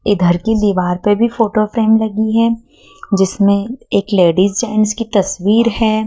इधर की दीवार पे भी फोटो फ्रेम लगी है जिसमें एक लेडिस जेंट्स की तस्वीर है।